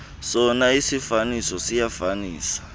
sona isiifaniso siyafanisa